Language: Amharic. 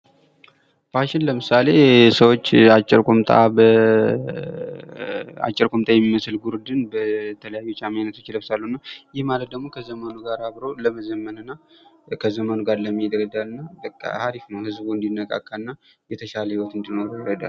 ፋሽን ለምሳሌ ሰዎች አጭር ቁምጣ የሚመስል ጉርድን በተለያዩ የጫማ አይነቶች ይለብሳሉ እና ይህ ማለት ደግሞ ከዘመኑ ጋር አብሮ ለመዘመንና ከዘመኑ ጋር ለመሄድ ይረዳል እና በቃ አሪፍ ነው ። ህዝቡ እንዲነቃቃ እና የተሻለ ህይወት እንዲኖረው ይረዳል ።